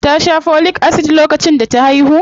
Ta sha Folic Acid lokacin da ta haihu?